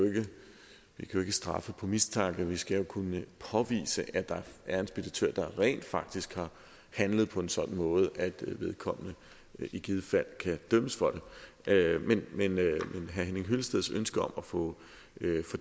jo ikke straffe ud fra mistanke vi skal kunne påvise at der er en speditør der rent faktisk har handlet på en sådan måde at vedkommende i givet fald kan dømmes for det men herre henning hyllesteds ønske om at få